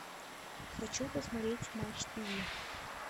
хочу посмотреть матч тв